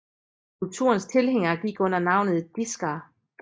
Kulturens tilhængere gik under navnet diskere